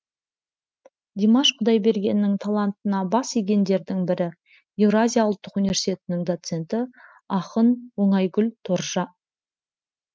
димаш құдайбергеннің талантына бас игендердің бірі еуразия ұлттық университетінің доценті ақын оңайгүл тұржа